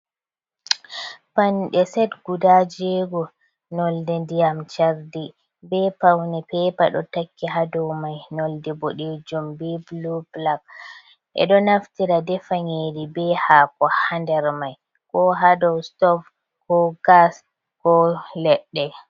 Pande set guda jego nonde ndiyam chardi be paune pepa do takki hado mai nonde boɗejum be bulu-blak e do naftira defa nyeri be hako ha nder mai. Ko ha dau stov ko gas ko leɗɗe.